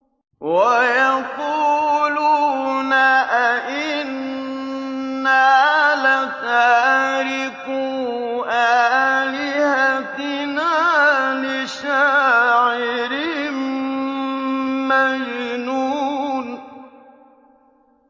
وَيَقُولُونَ أَئِنَّا لَتَارِكُو آلِهَتِنَا لِشَاعِرٍ مَّجْنُونٍ